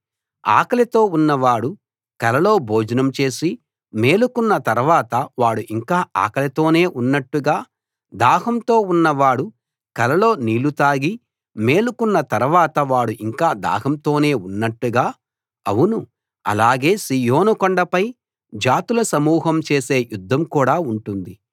ఆకలితో ఉన్నవాడు కలలో భోజనం చేసి మేలుకున్న తర్వాత వాడు ఇంకా ఆకలితోనే ఉన్నట్టుగా దాహంతో ఉన్నవాడు కలలో నీళ్ళు తాగి మేలుకున్న తర్వాత వాడు ఇంకా దాహంతోనే ఉన్నట్టుగా అవును అలాగే సీయోను కొండపై జాతుల సమూహం చేసే యుద్ధం కూడా ఉంటుంది